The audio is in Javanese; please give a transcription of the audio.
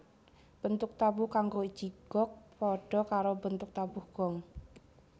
Bentuk tabuh kanggo jigog padha karo bentuk tabuh Gong